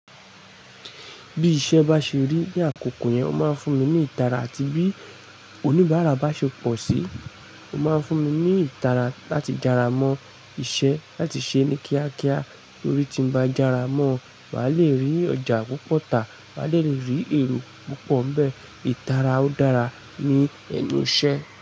Bí iṣẹ́ bá ṣe rí ní àkókò yẹn, ó máa ń fún mi ní ìtara àti bí oníbàárà bá ṣe pọ̀ sí i, ó máa ń fún mi ní ìtara láti jara mọ́ iṣẹ́ láti ṣe é ní kíákíá torí tí mo bá jara mọ́ ọ́n, màá le rí ọjà púpọ̀ táa, màá le rí èrò púpọ̀ ń bẹ. Ìtara ó dára ní ẹnu iṣẹ́